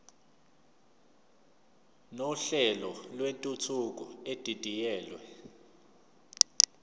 nohlelo lwentuthuko edidiyelwe